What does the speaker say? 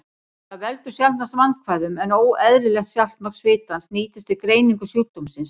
Það veldur sjaldnast vandkvæðum, en óeðlilegt saltmagn svitans nýtist við greiningu sjúkdómsins.